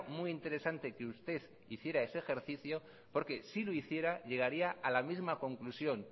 muy interesante que usted hiciera ese ejercicio porque si lo hiciera llegaría a la misma conclusión